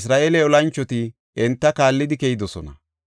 Isra7eele olanchoti enta kaallidi keyidosona.